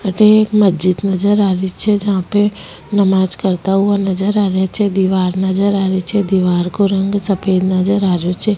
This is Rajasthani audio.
थे एक मस्जिद नजर आ री छे जहां पे नमाज करता हुआ नजर आ रेहा छ दीवार नज़र आ री छ दीवार को रंग सफ़ेद नज़र आ रेहो छ।